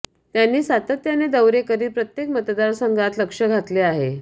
त्यांनी सातत्याने दौरे करीत प्रत्येक मतदारसंघात लक्ष घातले आहे